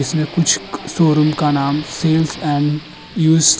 इसमें कुछ शोरूम का नाम सेल्स एण्ड यूज्ड --